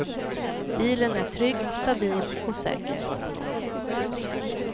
Bilen är trygg, stabil och säker.